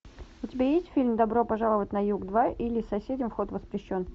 у тебя есть фильм добро пожаловать на юг два или соседям вход воспрещен